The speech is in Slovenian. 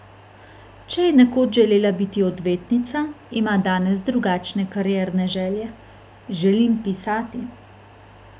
Če je nekoč želela biti odvetnica, ima danes drugačne karierne želje: 'Želim pisati.